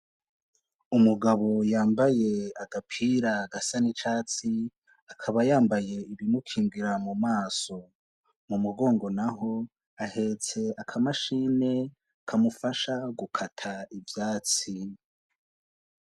Umugabo yambaye agapira gasa n'icatsi, akaba yambaye ikimukingira mu maso. Mu mugongo naho ahetse akamashini kamufasha gukata ivyatsi.